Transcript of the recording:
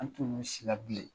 An tun bilen